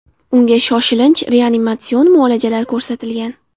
Unga shoshilinch reanimatsion muolajalar ko‘rsatilgan.